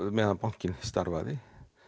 meðan bankin starfaði